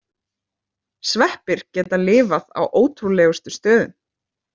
Sveppir geta lifað á ótrúlegustu stöðum.